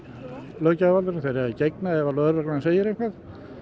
löggjafarvaldinu þeir eiga að gegna ef lögreglan segir eitthvað